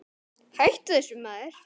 Hættu þessu maður!